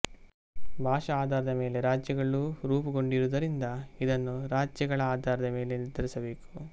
ಭಾಷಾ ಆಧಾರದ ಮೇಲೆ ರಾಜ್ಯಗಳು ರೂಪುಗೊಂಡಿರುವುದರಿಂದ ಇದನ್ನು ರಾಜ್ಯಗಳ ಆಧಾರದ ಮೇಲೆ ನಿರ್ಧರಿಸಬೇಕು